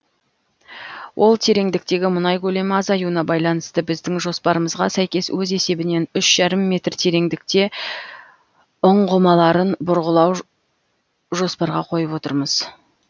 ол терендіктегі мұнай көлемі азаюына байланысты біздің жоспарымызға сәйкес өз есебінен үш жарым метр терендікте ұңғымаларын бұрғылау жоспарға қойып отырмыз